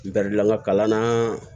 Garidilan ka kalan na